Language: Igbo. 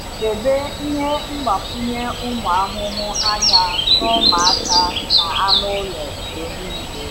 Debe ihe mgbakwunye ụmụ ahụhụ anya na ụmụaka na anụ ụlọ mgbe niile.